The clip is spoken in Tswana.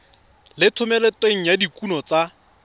le thomeloteng ya dikuno tsa